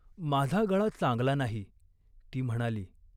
"माझा गळा चांगला नाही." ती म्हणाली.